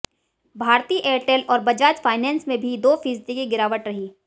Bharti Airtel और Bajaj finance में भी दो फीसदी की गिरावट रही